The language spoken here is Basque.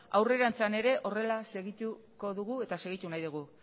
aurrerantzean ere horrela segituko dugu eta segitu nahi dugu